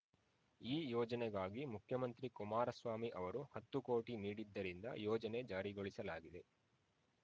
ಈ ಯೋಜನೆಗಾಗಿ ಮುಖ್ಯಮಂತ್ರಿ ಕುಮಾರಸ್ವಾಮಿ ಅವರು ಹತ್ತು ಕೋಟಿ ನೀಡಿದ್ದರಿಂದ ಯೋಜನೆ ಜಾರಿಗೊಳಿಸಲಾಗಿದೆ